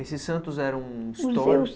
Esses santos eram